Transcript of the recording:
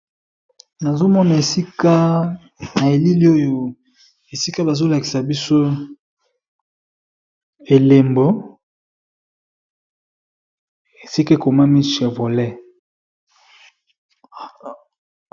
Nazomona esika na elili oyo esika bazolakisa biso elembo esika ekomami chevolet.